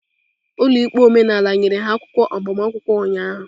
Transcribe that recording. Ụlọ ikpe omenala nyere ha akwụkwọ agbamakwụkwọ ụnyaahụ.